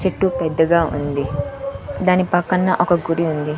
చెట్టు పెద్దగా ఉంది దాని పక్కన ఒక గుడి ఉంది.